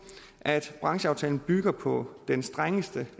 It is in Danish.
at brancheaftalen bygger på den strengeste